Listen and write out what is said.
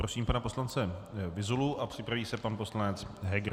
Prosím pana poslance Vyzulu a připraví se pan poslanec Heger.